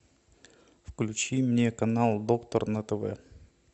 включи мне канал доктор на тв